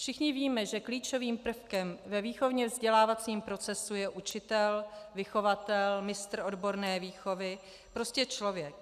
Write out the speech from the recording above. Všichni víme, že klíčovým prvkem ve výchovně vzdělávacím procesu je učitel, vychovatel, mistr odborné výchovy, prostě člověk.